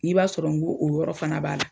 Ŋ'i b'a sɔrɔ ŋo o yɔrɔ fana b'a la.